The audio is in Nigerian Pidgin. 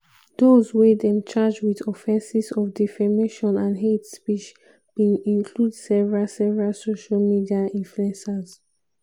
dose wey dem charge wit offenses of defamation and hate speech bin include several several social media influencers.